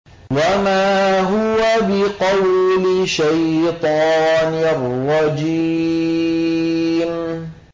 وَمَا هُوَ بِقَوْلِ شَيْطَانٍ رَّجِيمٍ